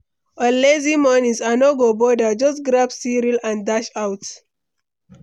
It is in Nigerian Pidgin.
On lazy mornings, I no go bother, just grab cereal and dash out.